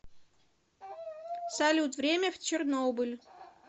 салют время в чернобыль